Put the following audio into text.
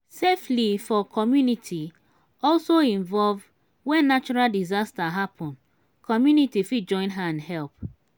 safely for community also involve when natural disaster happen community fit join hand help